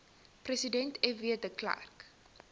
president fw de